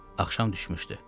Axşam düşmüşdü.